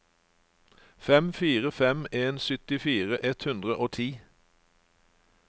fem fire fem en syttifire ett hundre og ti